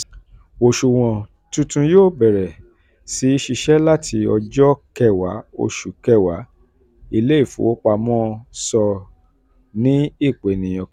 oṣuwọn tuntun yóò bẹ̀rẹ̀ um sí ṣiṣẹ́ láti ọjọ́ 10 um oṣù kẹwàá ilé-ifowopamọ́ um sọ ní ìpèníyàn kan.